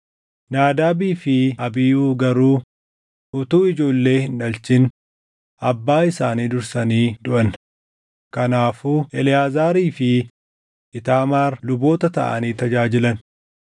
Naadaabii fi Abiihuu garuu utuu ijoollee hin dhalchin abbaa isaanii dursanii duʼan; kanaafuu Eleʼaazaarii fi Iitaamaar luboota taʼanii tajaajilan.